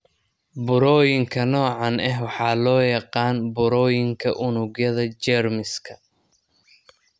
Burooyinka noocaan ah waxaa loo yaqaan burooyinka unugyada jeermiska.